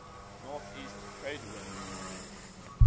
northeast trade winds